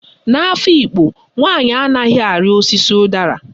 N'Afikpo, nwaanyị anaghị arị osisi ụdara.